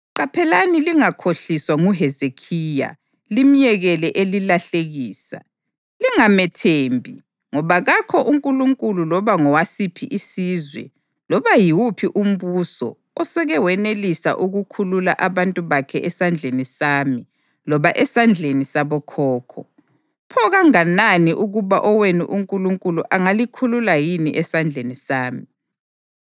Qaphelani lingakhohliswa nguHezekhiya limyekele elilahlekisa. Lingamethembi, ngoba kakho unkulunkulu loba ngowasiphi isizwe loba yiwuphi umbuso oseke wenelisa ukukhulula abantu bakhe esandleni sami loba esandleni sabokhokho. Pho kanganani ukuba owenu unkulunkulu angalikhulula yini esandleni sami!”